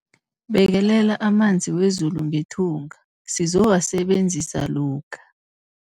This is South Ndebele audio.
Bekelela amanzi wezulu ngethunga sizowasebenzisa lokha.